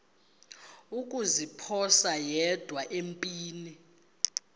kuziphosa yedwa empini